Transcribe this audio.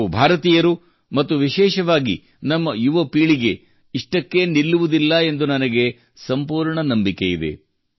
ನಾವು ಭಾರತೀಯರು ಮತ್ತು ವಿಶೇಷವಾಗಿ ನಮ್ಮ ಯುವ ಪೀಳಿಗೆಯು ಇಷ್ಟಕ್ಕೇ ನಿಲ್ಲುವುದಿಲ್ಲ ಎಂದು ನನಗೆ ಸಂಪೂರ್ಣ ನಂಬಿಕೆ ಇದೆ